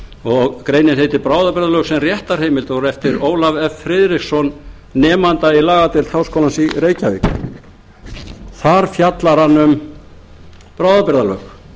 og greinin heitir bráðabirgðalög sem réttarheimild og er eftir ólaf f friðriksson nemanda í lagadeild háskólans í reykjavík þar fjallar hann um bráðabirgðalög